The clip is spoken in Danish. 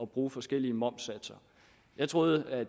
bruge forskellige momssatser jeg troede at